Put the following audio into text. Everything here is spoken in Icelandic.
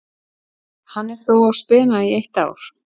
Hann er þó á spena í eitt ár.